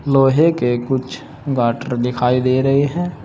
लोहे के कुछ गाटर दिखाई दे रहे हैं।